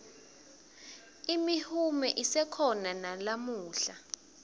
imihume isekhona nalamuhla